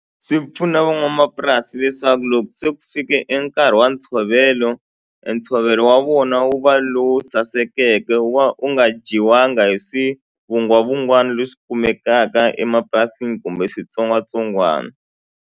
Swi pfuna van'wamapurasi leswaku loko se ku fike enkarhi wa ntshovelo entshovelo wa vona wu va lowu sasekeke wa u nga dyiwanga hi swivungwavugwana leswi kumekaka emapurasini kumbe switsongwatsongwana.